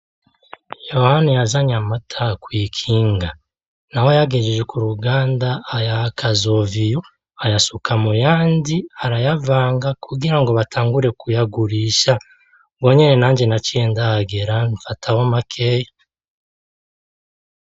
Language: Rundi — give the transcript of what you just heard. Yohani yazanye amata kw'ikinga. Na we ayagejeje ku ruganda, ayaha Kazoviyo ayasuka mu yandi arayavanga kugira ngo batangure kuyagurisha. Ubwo nyene nanje naciye ndahagera, mfatamwo makeya.